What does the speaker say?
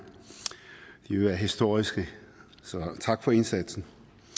de vil være historiske så tak for indsatsen